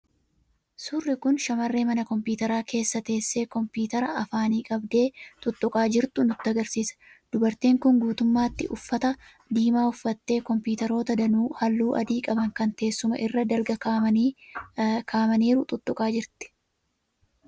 Suurri kun shamarree mana kompiitaraa keessa teessee kompiitara afaanii qabdee tuttuqaa jirtu nutti argisiisa. Dubartiin kun guutummaatti uffata diimaa uffattee, kompiitaroota danuu halluu adii qaban kan teessuma irra dalga kaa'amaniiru tuttuqaa jirti.